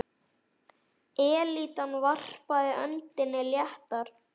Elítan varpaði öndinni léttar.